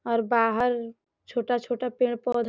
और बाहर छोटा-छोटा पेड़-पौधा --